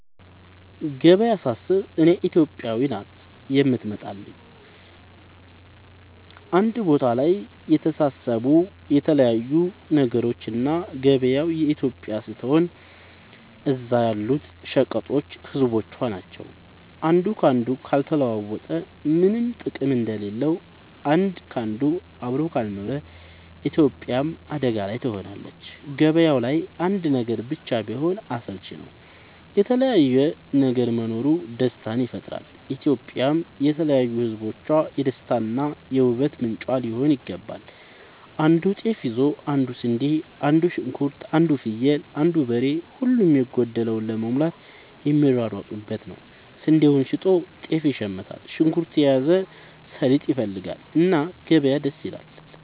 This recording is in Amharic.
ገበያ ሳስብ እኔ ኢትዮጵያ ናት የምትመጣለኝ አንድ ቦታ ላይ የተሰባሰቡ የተለያዩ ነገሮች እና ገበያው ኢትዮጵያ ስትሆን እዛ ያሉት ሸቀጦች ህዝቦቿ ናቸው። አንዱ ካንዱ ካልተለዋወጠ ምነም ጥቅም እንደሌለው አንድ ካንዱ አብሮ ካልኖረ ኢትዮጵያም አደጋ ላይ ትሆናለች። ገባያው ላይ አንድ ነገር ብቻ ቢሆን አስልቺ ነው የተለያየ ነገር መኖሩ ደስታን ይፈጥራል። ኢትዮጵያም የተለያዩ ህዝቦቿ የደስታ እና የ ውበት ምንጯ ሊሆን ይገባል። አንዱ ጤፍ ይዞ አንዱ ስንዴ አንዱ ሽንኩርት አንዱ ፍየል አንዱ በሬ ሁሉም የጎደለውን ለመሙላት የሚሯሯጡበት ነው። ስንዴውን ሸጦ ጤፍ ይሽምታል። ሽንኩርት የያዘው ሰሊጥ ይፈልጋል። እና ገበያ ደስ ይላል።